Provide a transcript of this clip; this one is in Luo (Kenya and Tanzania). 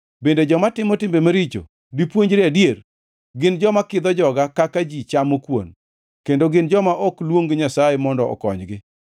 Bende joma timo timbe maricho dipuonjre adier? Gin joma kidho joga kaka ji chamo kuon; kendo gin joma ok luong Nyasaye mondo okonygi.